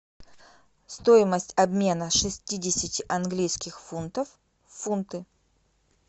стоимость обмена шестидесяти английских фунтов в фунты